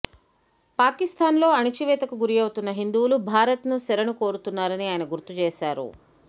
పాకిస్తాన్ లో అణచివేతకు గురౌతున్న హిందూవులు భారత్ ను శరణు కోరుతున్నారని ఆయన గుర్తు చేశారు